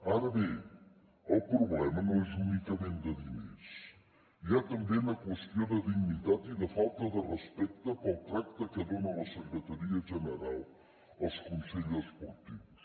ara bé el problema no és únicament de diners hi ha també una qüestió de dignitat i de falta de respecte pel tracte que dona la secretaria general als consells esportius